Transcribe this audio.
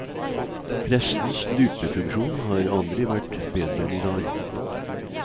Pressens lupefunksjon har aldri vært bedre enn i dag.